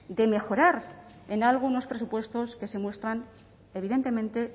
de mejorar en algo unos presupuestos que se muestran evidentemente